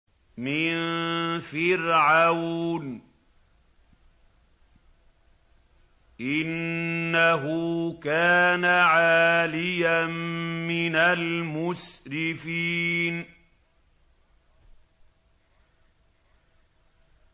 مِن فِرْعَوْنَ ۚ إِنَّهُ كَانَ عَالِيًا مِّنَ الْمُسْرِفِينَ